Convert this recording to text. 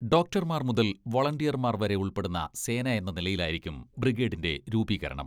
ഡോക്ടർമാർ മുതൽ വൊളണ്ടിയർമാർ വരെ ഉൾപ്പെടുന്ന സേന എന്ന നിലയിലായിരിക്കും ബ്രിഗേഡിന്റെ രൂപീകരണം.